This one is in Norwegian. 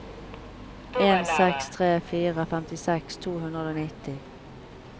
en seks tre fire femtiseks to hundre og nitti